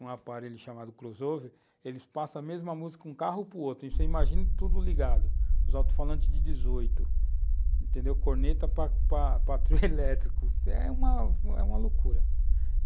um aparelho chamado crossover, eles passam a mesma música de um carro para o outro, você imagina tudo ligado, os alto-falantes de dezoito, entendeu, corneta para para trio elétrico, é uma loucura.